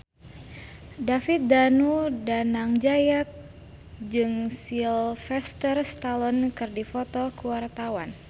David Danu Danangjaya jeung Sylvester Stallone keur dipoto ku wartawan